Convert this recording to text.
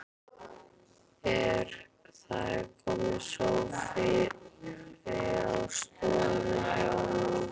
Það er kominn sófi á stofuna hjá honum.